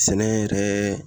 Sɛnɛ yɛrɛ